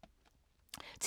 TV 2